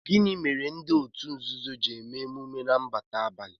Gịnị mere ndị òtù nzuzo ji eme emume nnabata na abalị?